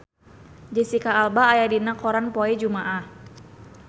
Jesicca Alba aya dina koran poe Jumaah